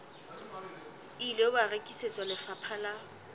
ile wa rekisetswa lefapha la